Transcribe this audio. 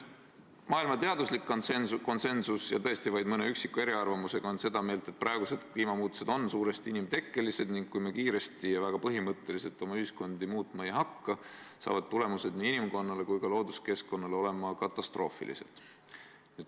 " Maailma teaduslik konsensus – tõesti on vaid mõni üksik eriarvamus – on see, et praegused kliimamuutused on suuresti inimtekkelised ning kui me kiiresti ja väga põhimõtteliselt oma ühiskonda muutma ei hakka, on tulemused nii inimkonnale kui ka looduskeskkonnale katastroofilised.